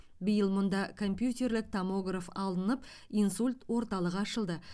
биыл мұнда компьютерлік томограф алынып инсульт орталығы ашылды